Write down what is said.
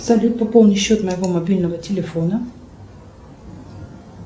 салют пополни счет моего мобильного телефона